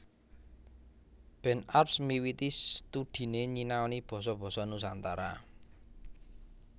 Ben Arps miwiti studhiné nyinaoni basa basa Nusantara